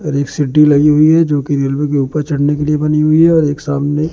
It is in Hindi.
रैक सीढ़ी लगी हुई है जो की रेलवे के ऊपर चढ़ने के लिए बनी हुई है और एक सामने--